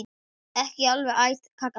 Ekki alveg æt kaka þar.